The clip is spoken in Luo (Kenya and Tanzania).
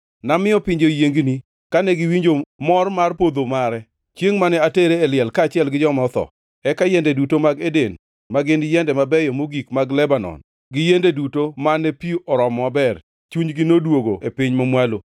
Namiyo pinje oyiengni kane giwinjo mor mar podho mare, chiengʼ mane atere e liel kaachiel gi joma otho. Eka yiende duto mag Eden, ma gin yiende mabeyo mogik mag Lebanon gin yiende duto mane pi oromo maber, chunygi noduogo e piny mamwalo.